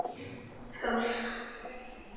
Skál!